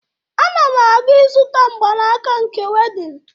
Ana m aga ịzụta mgbanaka nke wedịn